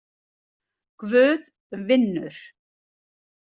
Guð vinnur.